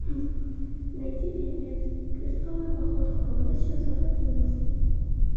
найди фильмец крестовый поход хроно сезон одиннадцать